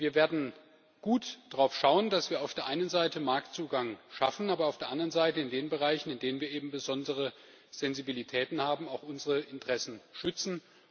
Wir werden gut darauf schauen, dass wir auf der einen Seite Marktzugang schaffen, aber auf der anderen Seite in den Bereichen, in denen wir eben besondere Sensibilitäten haben, auch unsere Interessen schützen.